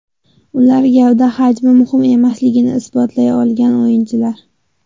Ular gavda hajmi muhim emasligini isbotlay olgan o‘yinchilar.